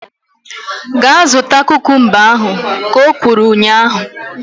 Gaa zụta kukumba ahu! Ka o kwuru ụnyaahụ